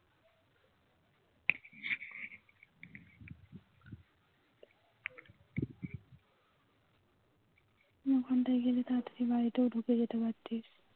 ওখান থেকে যদি তাড়াতাড়ি বাড়িতেও ঢুকে যেতে পারতিস